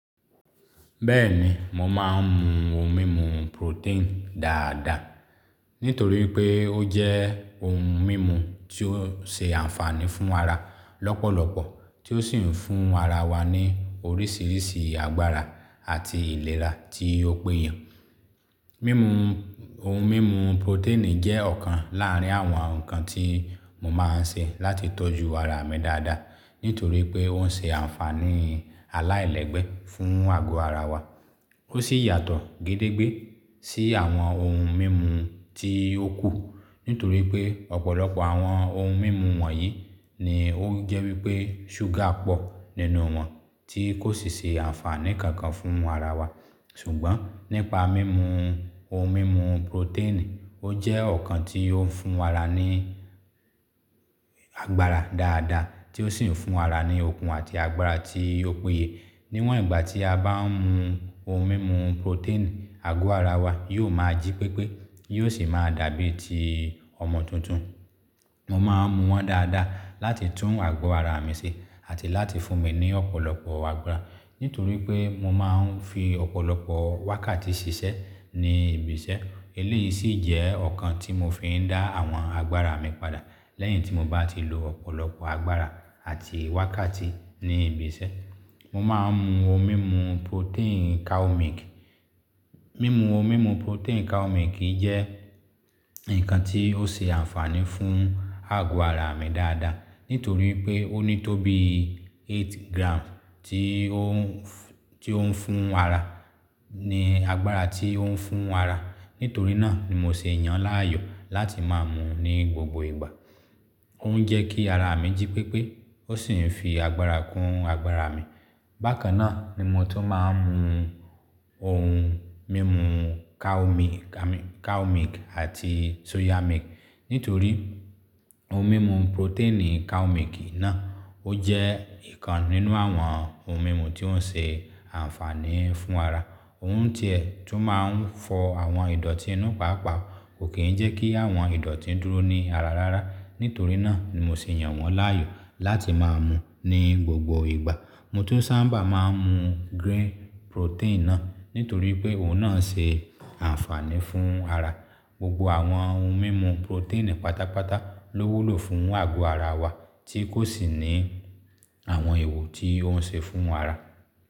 Bẹ́ẹ̀ni, mò máa ń mú ohun mímu protein dáadáa, nítorí pé ó jẹ́ ohun mímu tí ó ṣe àǹfààní fún ara lọ́pọ̀lọpọ̀, tí ó sì ń fún ara wa ní oríṣìíríṣìí agbára àti ìlera tí ó péye. Mímu ohun mímu protein jẹ́ ọ̀kan láàrín àwọn nǹkan tí mo máa ń ṣe láti tọ́jú ara mi dáadáa, nítorí pé ó ń ṣe àǹfààní aláìlẹ́gbẹ́ fún àgọ́ ara wa. Ó sì yàtọ̀ gédégbé sí àwọn ohun mímu tí ó kù, nítorí pé ọ̀pọ̀lọpọ̀ àwọn ohun mímu wọ̀nyí ni ó jẹ́ wípé ṣúgà pọ̀ nínú wọn tí kò sì ṣe àǹfààní kankan fún ara wa. Ṣùgbọ́n nípa mímu ohun mímu protein, ó jẹ́ ọ̀kan tí ó ń fún ara ní agbára dáadáa, tí ó sì ń fún ara ní okun àti agbára tí ó péye. Níwọ̀n ìgbà tí a bá ń mu ohun mímu protein, àgọ́ ara wa yóò máa jí pépé, yóò sì máa dàbí ti ọmọ tuntun. Mo máa ń mu wọn dáadáa láti tún àgọ́ ara mi ṣe àti láti fún mi ní ọ̀pọ̀lọpọ̀ agbára. Nítorí pé mo máa ń fi ọ̀pọ̀lọpọ̀ wákàtí ṣiṣẹ́ ní ibi iṣẹ́. Eléyìí sì jẹ́ ọ̀kan tí mo fi ń dá àwọn agbára mi padà lẹ́yìn tí mo bá ti lo ọ̀pọ̀lọpọ̀ agbára àti wákàtí ní ibi iṣẹ́. Mo máa ń mu ohun mímu protein cow milk. Mímu ohun mímu protein cow milk jẹ́ nǹkan tí ó ṣe àǹfààní fún àgọ́ ara mi dáadáa, nítorí pé ó ní tó bí eight gram tí ó ń, tí ó ń fún ara ní agbára tí ó ń fún ara. Nítorí náà ni mo ṣe yàn láàyò láti máa mú ní gbogbo ìgbà. Ó ń jẹ́ kí ara mi jí pépé, ó sì ń fi agbára kún agbára mi. Bákan náà ni mo tun máa ń mu ohun mímu cow milk àti soya milk. Nítorí ohun mímu protein cow milk náà ó jẹ́ ìkan nínú àwọn ohun mímu tí ó ń ṣe àǹfààní fún ara. Òun tiẹ̀ tun máa ń fọ àwọn ìdọ̀tí inú paapaa, kò kí ń jẹ́ kí àwọn ìdọ̀tí dúró ní ara rárá. Nítorí náà ni mo ṣe yàn wọ́n láàyò láti máa mú ní gbogbo ìgbà. Mo tu sábà máa ń mu green protein náà, nítorí pé òun náà ń ṣe àǹfààní fún ara. Gbogbo àwọn ohun mímu protein pátápátá ló wúlò fún àgọ́ ara wa tí kò sì ní àwọn èèwọ̀ tí ó ń ṣe fún ara.